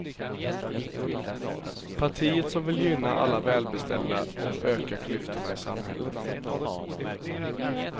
Partiet som vill gynna alla välbeställda och öka klyftorna i samhället.